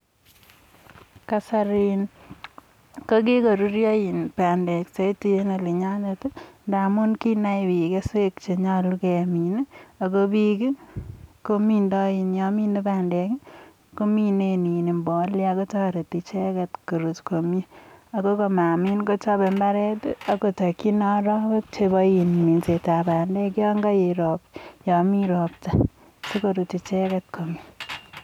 Kasari kokikoruryo bandek saidi eng olinyonet ngamun kinai biik keswek che nyolu kemin ako biik komindoi yon minei bandek kominen mbolea kotoreti icheket koruut komnye, ako mamiin imbaaret kochope imbaaret ako takchin arawek chebo minsetab bandek yon kaet, yon mi ropta sikoruut icheket komnye.